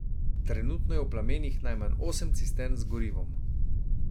Trenutno je v plamenih najmanj osem cistern z gorivom.